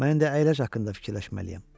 Mən indi əyləc haqqında fikirləşməliyəm.